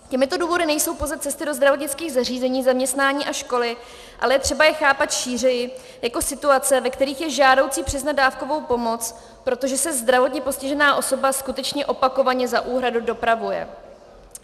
Těmito důvody nejsou pouze cesty do zdravotnických zařízení, zaměstnání a školy, ale je třeba je chápat šířeji jako situace, ve kterých je žádoucí přiznat dávkovou pomoc, protože se zdravotně postižená osoba skutečně opakovaně za úhradu dopravuje.